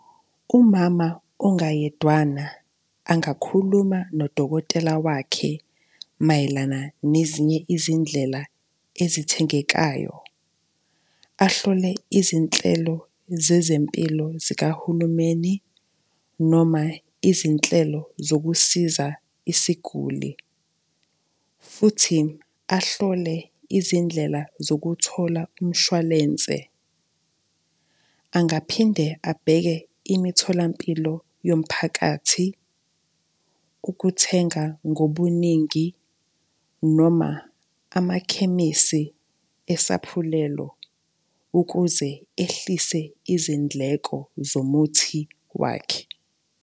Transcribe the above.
Umama ongayedwana angakhuluma nodokotela wakhe mayelana nezinye izindlela ezithengekayo, ahlole izinhlelo zezempilo zikahulumeni, noma izinhlelo zokusiza isiguli, futhi ahlole izindlela zokuthola umshwalense. Angaphinde abheke imitholampilo yomphakathi, ukuthenga ngobuningi noma amakhemisi esaphulelo ukuze ehlise izindleko zomuthi wakhe.